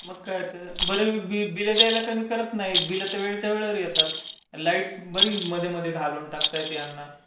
मग काय तर. बिलं द्यायला कमी करत नाही. बिलं तर वेळेच्या वेळेवर येतात. आणि लाईट बरी मध्ये मध्ये हलवून टाकता येते यांना.